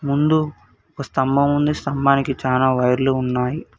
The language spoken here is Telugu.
ముందు ఒక స్తంభముంది స్తంభానికి చానా వైర్లు ఉన్నాయి.